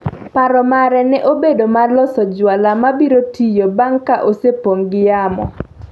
Paro mare ne obedo mar loso jwala ma biro tiyo bang’ ka osepong’o gi yamo.